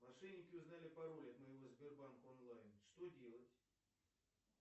мошенники узнали пароль от моего сбербанк онлайн что делать